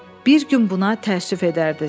Bir gün buna təəssüf edərdiniz.